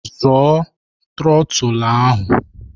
Zọọ trotul ahụ!